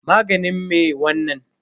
Maganin me wanna?